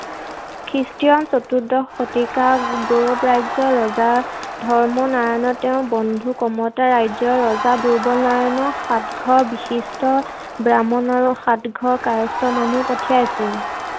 খ্ৰীষ্টীয় চতুৰ্দশ শতিকা গৌড় ৰাজ্যৰ ৰজা ধৰ্ম নাৰায়ণে তেওঁৰ বন্ধু কমতা ৰাজ্যৰ ৰজা দুৰ্লভ নাৰায়ণৰ সাতঘৰ বিশিষ্ট ব্ৰাহ্মণ আৰু সাতঘৰ কায়স্থ মানুহ পঠিয়াইছিল।